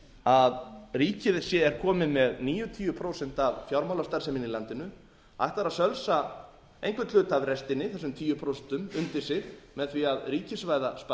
að ríkið sé komið með níutíu prósent af fjármálastarfseminni í landinu ætlar að sölsa einhvern hluta af restinni þessum tíu prósent undir sig með því að ríkisvæða sparisjóðina